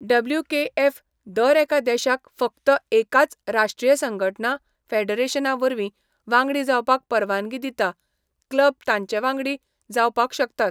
WKF. दर एका देशाक फकत एकाच राष्ट्रीय संघटना, फेडरेशना वरवीं वांगडी जावपाक परवानगी दिता, क्लब तांचे वांगडी जावपाक शकतात.